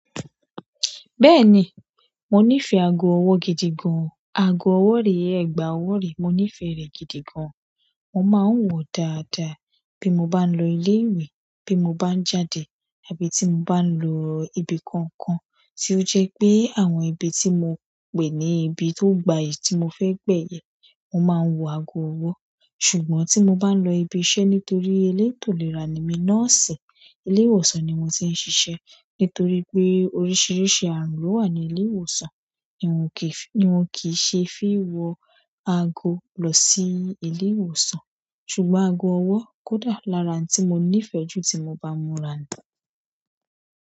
Bẹ́ẹ̀ni, mo nífẹ̀ẹ́ ago ọwọ́ gidi gan. Ago ọwọ́ rí, ẹ̀gbà ọwọ́ rí, mo nífẹ̀ẹ́ rẹ̀ gidi gan. Mo máa ń wọ dáadáa bí mo bá ń lọ ilé ìwé, bí mo bá ń jáde, àbí tí mo bá ń lọ ibi kankan tí ó jẹ́ pé àwọn ibi tí mo pè ní ibi tó gbayì tí mo fẹ́ gbẹ̀yẹ̀, mo máa ń wọ ago ọwọ́. Ṣùgbọ́n tí mo bá ń lọ ibi iṣẹ́ nítorí elétò ìlera ni mí, nọ́ọ̀sì ilé ìwòsàn ni mo ti ń ṣiṣẹ́, nítorí pé oríṣiríṣi àrùn ló wà ní ilé ìwòsàn, nì wọ̀n kì í ṣe fí wọ ago lọ sí ilé ìwòsàn. Ṣùgbọ́n ago ọwọ́ kódà lára ohun tí mo nífẹ̀ẹ́ jù tí mo bá múra ni.